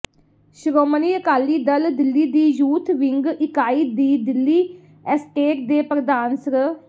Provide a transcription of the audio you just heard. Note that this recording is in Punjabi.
ਸ਼੍ਰੋਮਣੀ ਅਕਾਲੀ ਦਲ ਦਿੱਲੀ ਦੀ ਯੂਥ ਵਿੰਗ ਇਕਾਈ ਦੀ ਦਿੱਲੀ ਐਸਟੇਟ ਦੇ ਪ੍ਰਧਾਨ ਸ੍ਰ